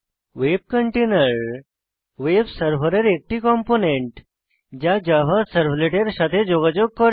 ভেব container web সার্ভারের একটি component যা জাভা সার্ভলেটের সাথে যোগাযোগ করে